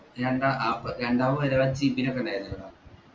രണ്ട ആ പ്ര രണ്ടാളും ഒരു മാതിരി ചിരിക്കുന്നൊക്കെ ഇണ്ടായിരുന്നില്ലെടാ